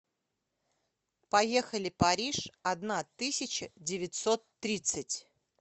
поехали париж одна тысяча девятьсот тридцать